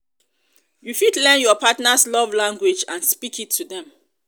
you fit learn your partner's love language and speak it to dem.